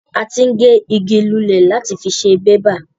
A ti ń gé ìgi lulẹ̀ láti fí ṣe bébà